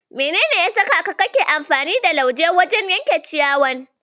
Menene ya saka kake amfani da lauje wajen yanke ciyayin?